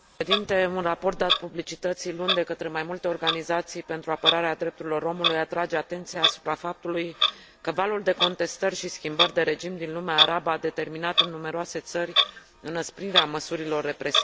Un raport dat publicității luni de către mai multe organizații pentru apărarea drepturilor omului atrage atenția asupra faptului că valul de contestări și schimbări de regim din lumea arabă a determinat în numeroase țări înăsprirea măsurilor represive.